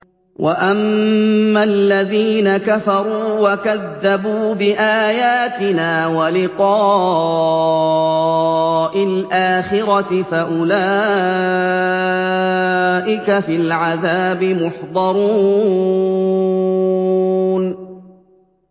وَأَمَّا الَّذِينَ كَفَرُوا وَكَذَّبُوا بِآيَاتِنَا وَلِقَاءِ الْآخِرَةِ فَأُولَٰئِكَ فِي الْعَذَابِ مُحْضَرُونَ